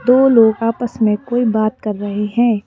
दो लोग आपस में कोई बात कर रहे हैं।